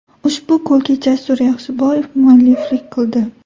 Ushbu golga Jasur Yaxshiboyev mualliflik qildi.